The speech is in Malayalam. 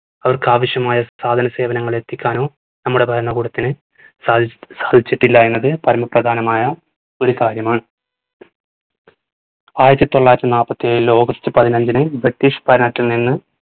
അവർക്ക് ആവശ്യമായ സാധന സേവനങ്ങൾ എത്തിക്കാനോ നമ്മുടെ ഭരണകൂടത്തിന് സാധിച് സാധിച്ചിട്ടില്ല എന്നത് പരമ പ്രധാനമായ ഒരു കാര്യമാണ്. ആയിരത്തി തൊള്ളായിരത്തി നാപ്പത്തിയേഴിൽ august പതിനഞ്ചിന് british ഭരണത്തിൽ നിന്ന്